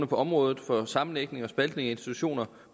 på området for sammenlægning og spaltning af institutioner